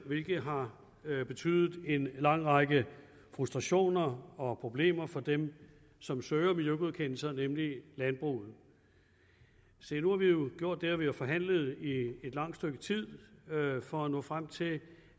hvilket har betydet en lang række frustrationer og problemer for dem som søger miljøgodkendelser nemlig landbruget nu har vi jo gjort det at vi har forhandlet i et langt stykke tid for at nå frem til